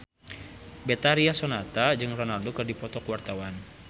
Betharia Sonata jeung Ronaldo keur dipoto ku wartawan